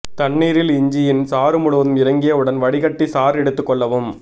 தண்ணீரில் இஞ்சியின் சாறு முழுவதும் இறங்கிய உடன் வடிகட்டி சாறு எடுத்து கொள்ளவும்